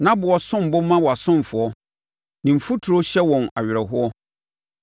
Nʼaboɔ som bo ma wʼasomfoɔ; ne mfuturo hyɛ wɔn awerɛhoɔ.